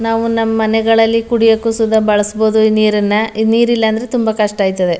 ನಾವು ನಮ್ಮ ಮನೆಗಳಲ್ಲಿ ಕುಡಿಯೋಕು ಸಹ ಬಳಸಬಹುದು ಈ ನೀರನ್ನ ಈ ನೀರಿಲ್ಲ ಅಂದ್ರೆ ತುಂಬಾ ಕಷ್ಟ ಅಯ್ಥದೇ.